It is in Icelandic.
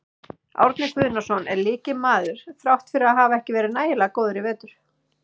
Árni Guðnason er lykilmaður þrátt fyrir að hafa ekki verið nægilega góður í vetur.